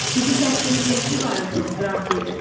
Sizin bəxtiniz gətirib Ayerton, Qrant dedi.